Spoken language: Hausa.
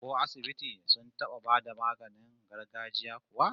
Ko asibiti sun taba bayar da maganin gargajiya kuwa?